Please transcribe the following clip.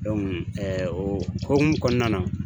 o hokumu kɔnɔna na